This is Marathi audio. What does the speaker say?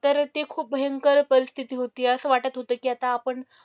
तर ते खूप भयंकर परिस्थिती होती. असं वाटत होतं की आता आपण,